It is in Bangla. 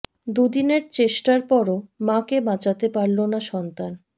দুদিনের চেষ্টার পরও মা কে বাঁচাতে পারল না সন্তান